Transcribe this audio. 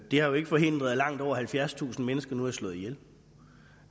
det har jo ikke forhindret at langt over halvfjerdstusind mennesker nu er slået ihjel